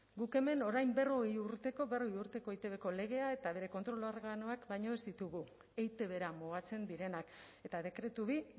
guk hemen orain berrogei urteko eitbko legea eta bere kontrol organoak baino ez ditugu eitbra mugatzen direnak eta dekretu bi